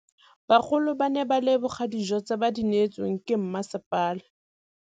Bagolo ba ne ba leboga dijô tse ba do neêtswe ke masepala.